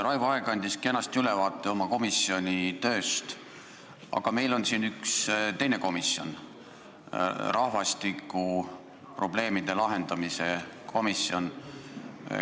Raivo Aeg andis kenasti ülevaate oma komisjoni tööst, aga meil on veel üks komisjon, rahvastikukriisi lahendamise probleemkomisjon.